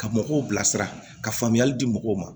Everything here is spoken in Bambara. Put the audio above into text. Ka mɔgɔw bilasira ka faamuyali di mɔgɔw ma